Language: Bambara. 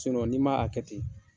n'i ma a kɛ ten